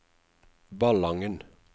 Ballangen